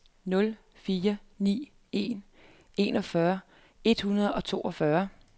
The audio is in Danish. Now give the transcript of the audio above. nul fire ni en enogfyrre et hundrede og toogfyrre